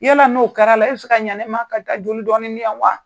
Yala n'o kɛra la e bi se ka ɲa ne ma ka taa joli dɔɔnin n yan wa?